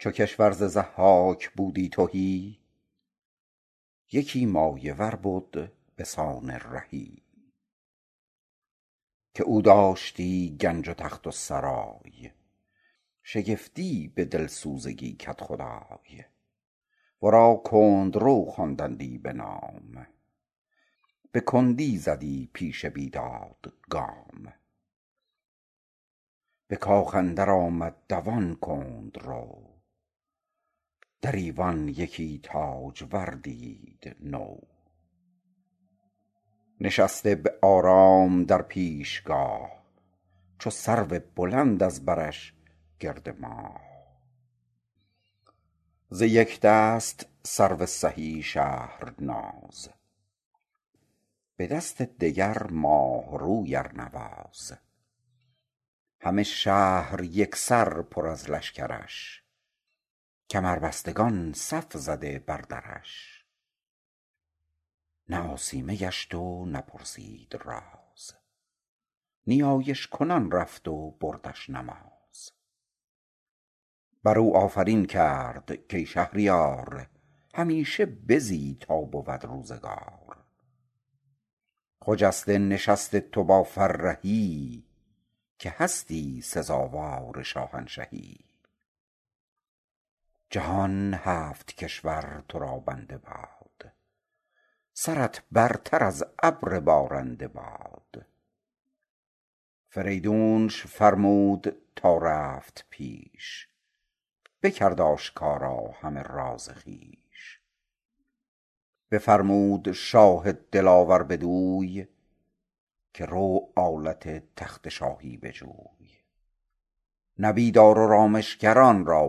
چو کشور ز ضحاک بودی تهی یکی مایه ور بد به سان رهی که او داشتی گنج و تخت و سرای شگفتی به دلسوزگی کدخدای ورا کندرو خواندندی بنام به کندی زدی پیش بیداد گام به کاخ اندر آمد دوان کندرو در ایوان یکی تاجور دید نو نشسته به آرام در پیشگاه چو سرو بلند از برش گرد ماه ز یک دست سرو سهی شهرناز به دست دگر ماه روی ارنواز همه شهر یک سر پر از لشکرش کمربستگان صف زده بر درش نه آسیمه گشت و نه پرسید راز نیایش کنان رفت و بردش نماز بر او آفرین کرد کای شهریار همیشه بزی تا بود روزگار خجسته نشست تو با فرهی که هستی سزاوار شاهنشهی جهان هفت کشور تو را بنده باد سرت برتر از ابر بارنده باد فریدونش فرمود تا رفت پیش بکرد آشکارا همه راز خویش بفرمود شاه دلاور بدوی که رو آلت تخت شاهی بجوی نبیذ آر و رامشگران را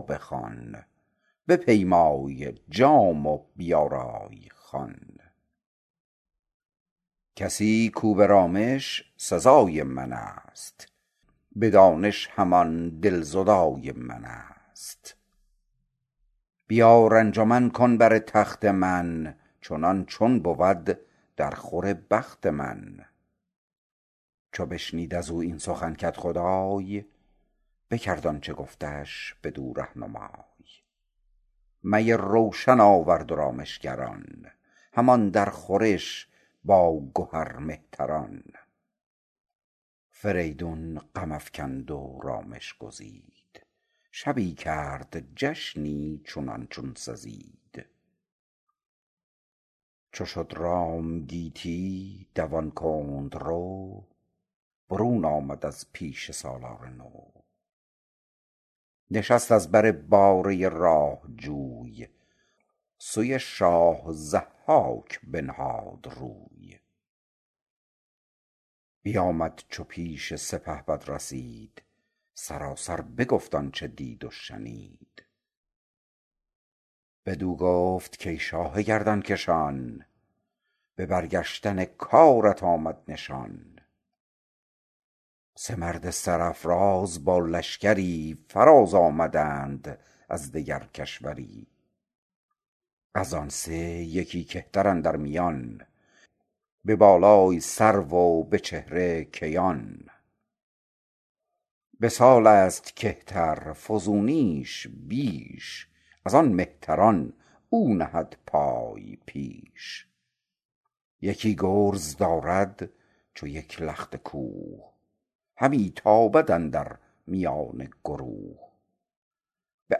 بخوان بپیمای جام و بیارای خوان کسی کاو به رامش سزای من است به دانش همان دلزدای من است بیار انجمن کن بر تخت من چنان چون بود در خور بخت من چو بشنید از او این سخن کدخدای بکرد آنچه گفتش بدو رهنمای می روشن آورد و رامشگران همان در خورش با گهر مهتران فریدون غم افکند و رامش گزید شبی کرد جشنی چنان چون سزید چو شد رام گیتی دوان کندرو برون آمد از پیش سالار نو نشست از بر باره راه جوی سوی شاه ضحاک بنهاد روی بیآمد چو پیش سپهبد رسید سراسر بگفت آنچه دید و شنید بدو گفت کای شاه گردنکشان به برگشتن کارت آمد نشان سه مرد سرافراز با لشکری فراز آمدند از دگر کشوری از آن سه یکی کهتر اندر میان به بالای سرو و به چهر کیان به سال است کهتر فزونیش بیش از آن مهتران او نهد پای پیش یکی گرز دارد چو یک لخت کوه همی تابد اندر میان گروه به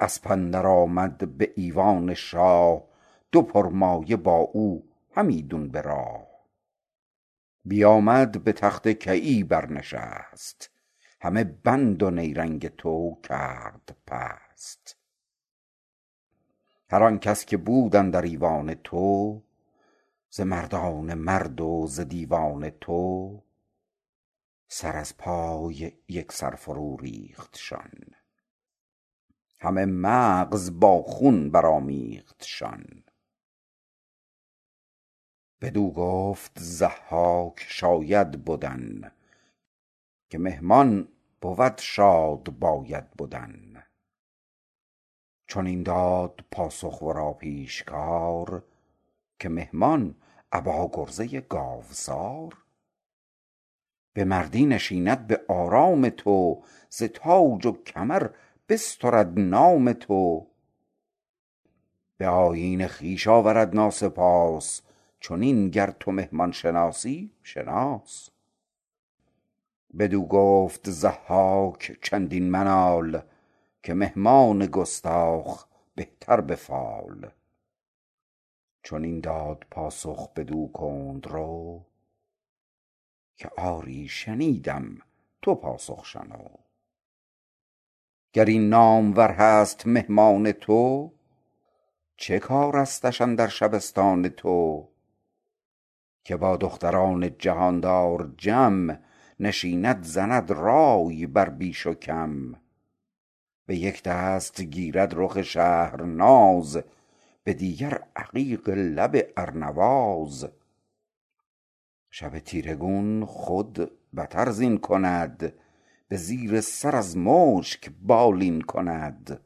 اسپ اندر آمد به ایوان شاه دو پرمایه با او همیدون براه بیآمد به تخت کیی بر نشست همه بند و نیرنگ تو کرد پست هر آن کس که بود اندر ایوان تو ز مردان مرد و ز دیوان تو سر از پای یک سر فرو ریختشان همه مغز با خون برآمیختشان بدو گفت ضحاک شاید بدن که مهمان بود شاد باید بدن چنین داد پاسخ ورا پیشکار که مهمان ابا گرزه گاوسار به مردی نشیند به آرام تو ز تاج و کمر بسترد نام تو به آیین خویش آورد ناسپاس چنین گر تو مهمان شناسی شناس بدو گفت ضحاک چندین منال که مهمان گستاخ بهتر به فال چنین داد پاسخ بدو کندرو که آری شنیدم تو پاسخ شنو گر این نامور هست مهمان تو چه کارستش اندر شبستان تو که با دختران جهاندار جم نشیند زند رای بر بیش و کم به یک دست گیرد رخ شهرناز به دیگر عقیق لب ارنواز شب تیره گون خود بتر زین کند به زیر سر از مشک بالین کند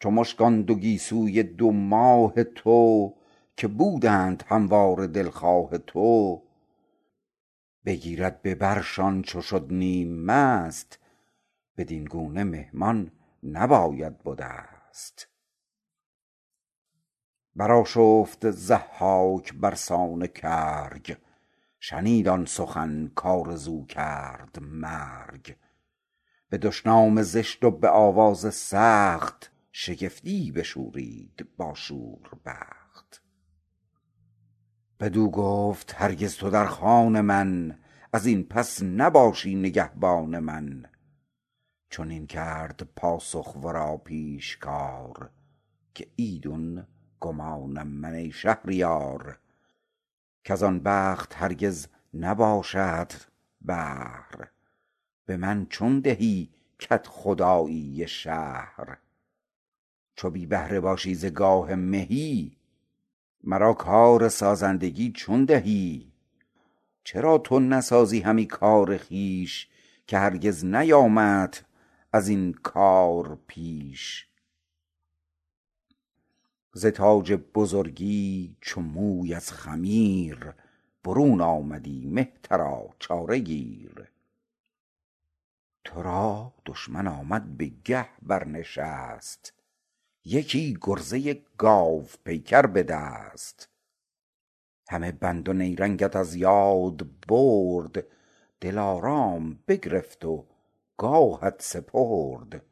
چو مشک آن دو گیسوی دو ماه تو که بودند همواره دلخواه تو بگیرد به برشان چو شد نیم مست بدین گونه مهمان نباید به دست برآشفت ضحاک برسان کرگ شنید آن سخن کآرزو کرد مرگ به دشنام زشت و به آواز سخت شگفتی بشورید با شور بخت بدو گفت هرگز تو در خان من از این پس نباشی نگهبان من چنین داد پاسخ ورا پیشکار که ایدون گمانم من ای شهریار کز آن بخت هرگز نباشدت بهر به من چون دهی کدخدایی شهر چو بی بهره باشی ز گاه مهی مرا کارسازندگی چون دهی چرا تو نسازی همی کار خویش که هرگز نیامدت از این کار پیش ز تاج بزرگی چو موی از خمیر برون آمدی مهترا چاره گیر تو را دشمن آمد به گه برنشست یکی گرزه گاوپیکر به دست همه بند و نیرنگت از رنگ برد دلارام بگرفت و گاهت سپرد